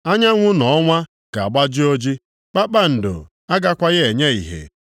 Anyanwụ na ọnwa ga-agbaji oji, kpakpando agakwaghị enye ìhè.